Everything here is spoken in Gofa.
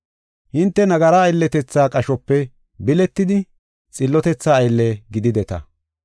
Hinte nagara aylletetha qashope biletidi xillotetha aylle gidideta.